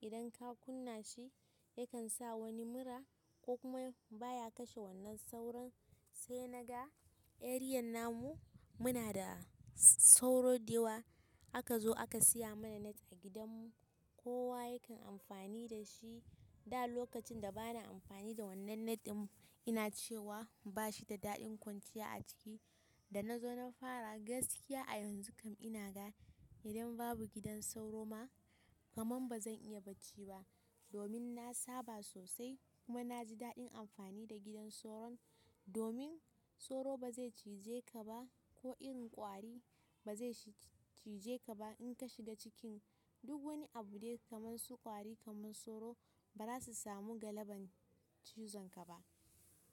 Idan ka kunna shi yakan sa wani mura ko kuma baya kashe wannan sauron. Sai naga area namu muna da sauro dayawa. Aka zo aka siya mana net a gidan mu. Kowa yakan amfani da shi. Da lokacin da ba na amfani da wannan net din ina cewa ba shi da daɗin kwanciya a ciki. Da nazo na fara gaskiya a yanzu kam ina ga idan babu gidan sauro ma kamar bazan iya bacci ba. Domin na saba sosai kuma na ji daɗin amfani da gidan souron. Domin souro ba zai ciji kaba, koh iren kwari bazai ciji kaba in kashiga cikin duk wani abu dai kamar su ƙwari kamar sauro bazasu samu galaban cizon ka ba.